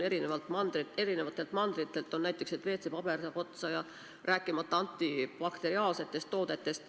Eri mandritelt on tulnud uudiseid, et WC-paber saab otsa, rääkimata antibakteriaalsetest toodetest.